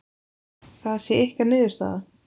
Það sé ykkar niðurstaða?